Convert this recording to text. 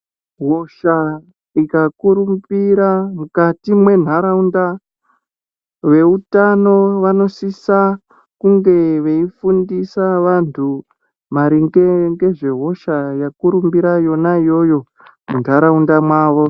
Hosha ikakurumbira mukati menharawunda, vehutano vanosisa kunge veyifundisa vantu maringe ngezvehosha yakurumbira yona yoyo, mundharawunda mawo.